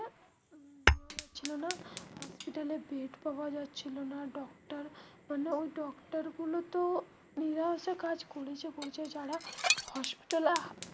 hospital এ bed পাওয়া যাচ্ছিলো না doctor মানে ওই doctor গুলো তো কাজ করেছে করেছে যারা hospital এ.